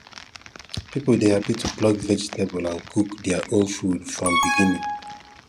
people dey happy to pluck vegetable and cook their own food from beginning